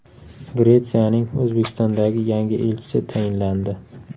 Gretsiyaning O‘zbekistondagi yangi elchisi tayinlandi.